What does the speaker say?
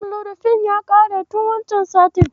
Amlodifin ya ƙare tin wancen satin.